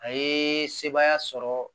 A ye sebaaya sɔrɔ